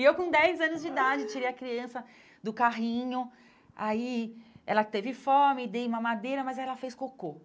E eu com dez anos de idade, tirei a criança do carrinho, aí ela teve fome, dei mamadeira, mas aí ela fez cocô.